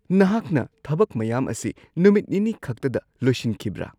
ꯅꯍꯥꯛꯅ ꯊꯕꯛ ꯃꯌꯥꯝ ꯑꯁꯤ ꯅꯨꯃꯤꯠ ꯅꯤꯅꯤꯈꯛꯇꯗ ꯂꯣꯏꯁꯤꯟꯈꯤꯕ꯭ꯔꯥ?